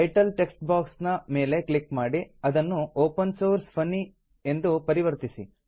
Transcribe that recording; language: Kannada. ಟೈಟಲ್ ಟೆಕ್ಸ್ಟ್ ಬಾಕ್ಸ್ ನ ಮೇಲೆ ಕ್ಲಿಕ್ ಮಾಡಿ ಅದನ್ನು ಒಪೆನ್ ಸೋರ್ಸ್ ಫನ್ನಿ ಎಂದು ಪರಿವರ್ತಿಸಿ